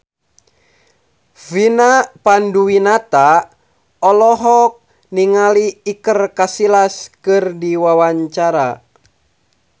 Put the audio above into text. Vina Panduwinata olohok ningali Iker Casillas keur diwawancara